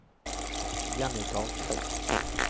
Jenny Karlsen